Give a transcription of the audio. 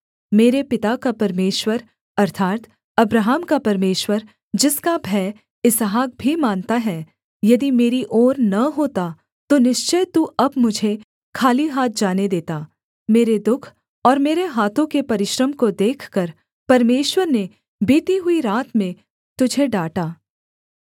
मेरे पिता का परमेश्वर अर्थात् अब्राहम का परमेश्वर जिसका भय इसहाक भी मानता है यदि मेरी ओर न होता तो निश्चय तू अब मुझे खाली हाथ जाने देता मेरे दुःख और मेरे हाथों के परिश्रम को देखकर परमेश्वर ने बीती हुई रात में तुझे डाँटा